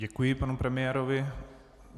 Děkuji panu premiérovi.